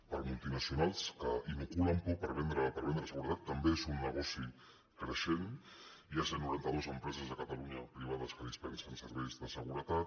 per a multinacionals que inoculen por per vendre seguretat també és un negoci creixent hi ha cent i noranta dos empreses a catalunya privades que dispensen serveis de seguretat